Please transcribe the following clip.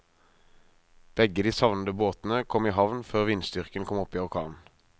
Begge de savnede båtene kom i havn før vindstyrken kom opp i orkan.